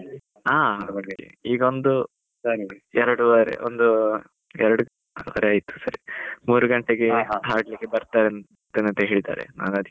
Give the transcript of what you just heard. ಈಗ ಒಂದು ಎರಡು ವರೆ ಒಂದು ಎರಡು ವರೆ ಆಯ್ತು ಸರಿ ಮೂರು ಗಂಟೆಗೆ ಬರ್ತಾರಂತೆ ಅಂತ ಹೇಳಿದ್ದಾರೆ ನಾನ್ ಅದಕೀಗ.